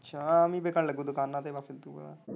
ਅੱਛਾ ਆਮ ਹੀ ਵਿੱਕਣ ਲੱਗੂ ਦੁਕਾਨਾਂ ਤੇ।